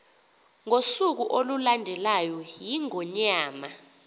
ngosuku olulandelayo iingonyama